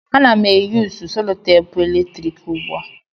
Ana m eyusu selutepu eletrik ugbu a.